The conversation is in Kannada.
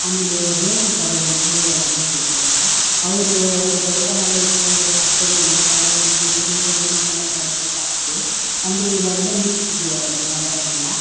ಆಮೇಲೆ ಮೇಲ್ಶಿಕಾರಿರಂತೆ ಹೇಳ್ ಎಲ್ಲಾ ಬರ್ತಿದ್ರು ಅವಾಗ ಅವ್ರು ಅವ್ರ್ ಬೈಕ್ ನೆಲ್ಲ ಇಟ್ಕೊಂಡು ಕತ್ತೆ ಮೇಲೆ ಸವಾರಿ ಮಾಡ್ಕೊಂಡು ಊರಿಂದ ಊರಿಗೆಲ್ಲಾ ಬರೋದು ಜಾಸ್ತಿ ಅಂದ್ರೆ ಇವಾಗೆಲ್ಲ ನಿಲ್ಸ್ಬಿಟ್ಟಿದ್ದಾರೆ ಅವೆಲ್ಲಾ ಬರೋದೆಲ್ಲ --